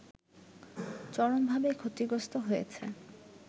চরমভাবে ক্ষতিগ্রস্ত হয়েছে